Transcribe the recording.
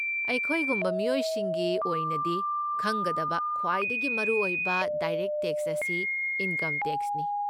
ꯑꯩꯈꯣꯏꯒꯨꯝꯕ ꯃꯤꯑꯣꯏꯁꯤꯡꯒꯤ ꯑꯣꯏꯅꯗꯤ, ꯈꯪꯒꯗꯕ ꯈ꯭ꯋꯥꯏꯗꯒꯤ ꯃꯔꯨꯑꯣꯏꯕ ꯗꯥꯏꯔꯦꯛꯠ ꯇꯦꯛꯁ ꯑꯁꯤ ꯏꯟꯀꯝ ꯇꯦꯛꯁꯅꯤ꯫